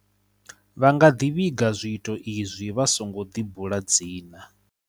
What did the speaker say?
Vha nga ḓi vhiga zwiito izwi vha songo ḓibula dzina.